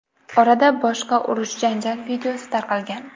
Orada boshqa urush-janjal videosi tarqalgan.